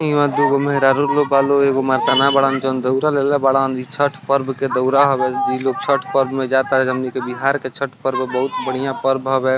यहाँ दूगो मेहरारू लोग बा लोग एगो मरदाना बाड़न जे दौरा लेले बाड़न | इ छठ पर्व के दउरा हवे | इ लोग छठ पर्व में जा ताडन हमनी के बिहार के छठ पर्व बहुत बढ़िया पर्व हवे |